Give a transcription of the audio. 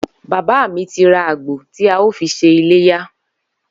Bàbá mi ti ra àgbò tí a óò fi s̩e iléyá